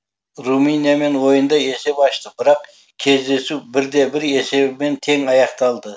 румыниямен ойында есеп ашты бірақ кездесу бірде бір есебімен тең аяқталды